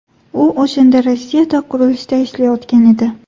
U o‘shanda Rossiyada qurilishda ishlayotgan edi.